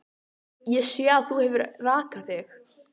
Ég sé að þú hefur rakað þig.